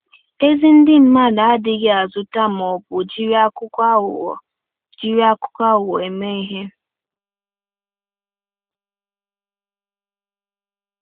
Ezi ndị mmadụ adịghị azụta ma ọ bụ jiri akwụkwọ aghụghọ jiri akwụkwọ aghụghọ eme ihe